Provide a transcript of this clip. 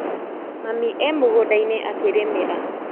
Mami e mũgũndainĩ akĩrĩmĩra.